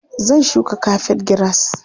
Zan shuka kafet giras.